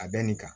A bɛ nin kan